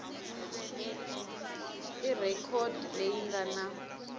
i rhekhodi leyi nga na